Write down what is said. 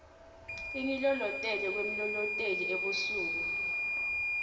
ingilolotele kwemlolotel ebusuku